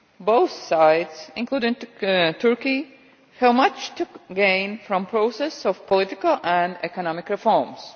both sides, including Turkey, have much to gain from the process of political and economic reforms.